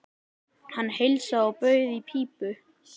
Hann heilsaði og bauð í pípu.